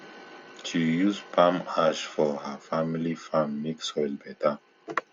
she use palm ash for her family farm make soil better